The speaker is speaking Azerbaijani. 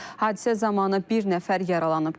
Hadisə zamanı bir nəfər yaralanıb.